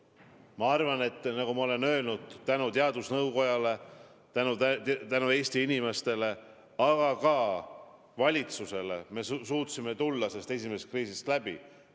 Ma arvan, nagu ma olen öelnud, et tänu teadusnõukojale, tänu Eesti inimestele, aga ka valitsusele me suutsime esimesest kriisist läbi tulla.